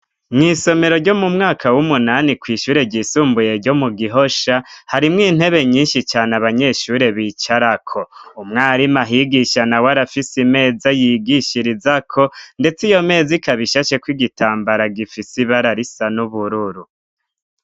Mw'isomero ryo mu mwaka w'umunani, kw'ishure ryisumbuye ryo mu Gihosha, harimwo intebe nyinshi cane abanyeshure bicarako. Umwarimu ahigisha nawe arafise imeza yigishirizako, ndetse iyo meza ikaba ishasheko igitambara gifise ibara risa n'ubururu.